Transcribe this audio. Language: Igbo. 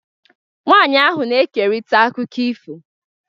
Nwanyị ahụ na-ekerịta akụkọ ifo.